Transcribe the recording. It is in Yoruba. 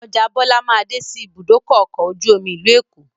Ọjà Bọlá máa dé sí ibùdókọ̀ ọkọ̀ ojú omi ìlú Èkó